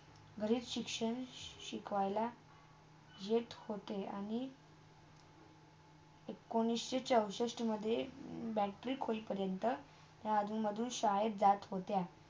घरीच शिक्षण शिकवला येत होते आणि एकोणीशी चौसष्टमधे Matric होत पर्यंत. ते अजुन -अजुन शाळेत जात होता